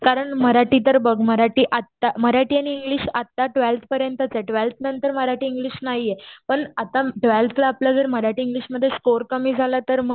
कारण मराठीतर बघ मराठी आता मराठी आणि इंग्लिश आता टवेल्थ पर्यंतचे. टवेल्थ नंतर मराठी इंग्लिश नाहीये. पण आता टवेल्थला आपला जर मराठी इंग्लिशमध्ये स्कोर कमी झाला तर म